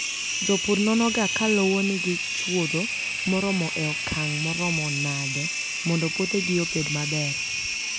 Jopur nonoga ka lowo nigi chuodho moromo e okang' maromo nade mondo puothegi obed maber.